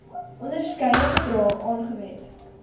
onderskeie bedrae aangewend